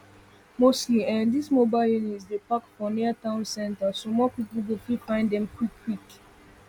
mostly ehnn those mobile units dey park for near town centers so more people go fit find dem quik quik